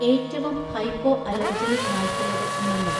ഏറ്റവും ഹൈപ്പോഅലോർജെനിക് നായ്ക്കളുടെ ഇനങ്ങൾ